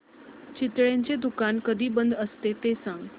चितळेंचं दुकान कधी बंद असतं ते सांग